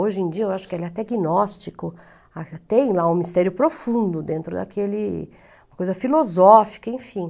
Hoje em dia eu acho que ele é até gnóstico, tem lá um mistério profundo dentro daquele, uma coisa filosófica, enfim.